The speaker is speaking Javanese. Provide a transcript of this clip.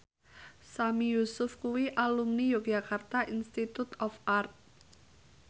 Sami Yusuf kuwi alumni Yogyakarta Institute of Art